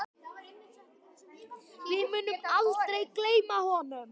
Við munum aldrei gleyma honum.